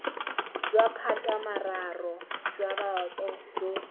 jwa maphatamararo jwa boto jo